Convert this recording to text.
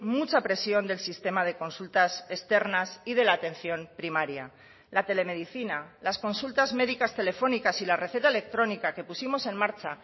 mucha presión del sistema de consultas externas y de la atención primaria la telemedicina las consultas médicas telefónicas y la receta electrónica que pusimos en marcha